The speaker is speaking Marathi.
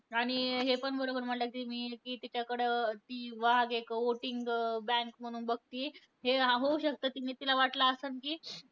आणि हे पण बरोबर म्हणल्या तुम्ही. कि तिच्याकडं ती वाघ एक voting bank म्हणून बघती. हे होऊ शकतं, ती तिला वाटलं असणं कि